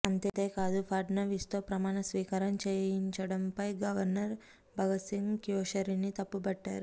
అంతేకాదు ఫడ్నవీస్తో ప్రమాణస్వీకారం చేయిండంపై గవర్నర్ భగత్ సింగ్ కోష్యారీని తప్పుబట్టారు